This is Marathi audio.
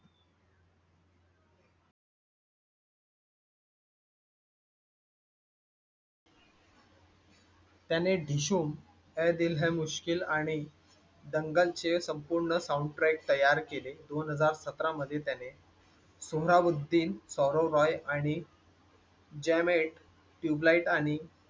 त्याने डिशूमअइ दिल है मुश्किल आणि दंगल चे संपूर्ण sound track तयार केले. दोन हजार सतरा मध्ये त्याने. सोहराबुद्दीन, सौरव राय आणि. jam it Tubelight आणि